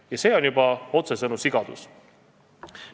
Ja see on juba otsesõnu sigadus.